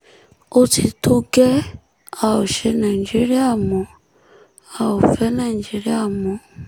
ó ti tó gẹ́ẹ́ a ó ṣe nàìjíríà mo a ò fẹ́ nàìjíríà mọ́